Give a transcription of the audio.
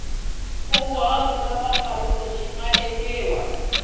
nkunguhato mpfapfarhuto wu nga endliwa